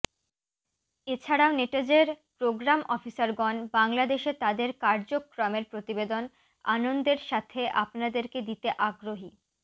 এছাড়াও নেটজ এর প্রোগ্রাম অফিসারগণ বাংলাদেশে তাদের কার্যক্রমের প্রতিবেদন আনন্দের সাথে আপনাদেরকে দিতে আগ্রহী